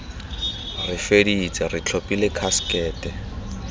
re feditse re tlhophile khasekete